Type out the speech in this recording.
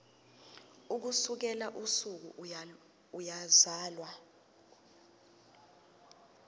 ukusukela usuku eyazalwa